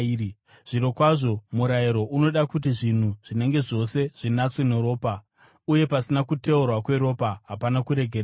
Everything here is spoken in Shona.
Zvirokwazvo, murayiro unoda kuti zvinhu zvinenge zvose zvinatswe neropa, uye pasina kuteurwa kweropa hapana kuregererwa.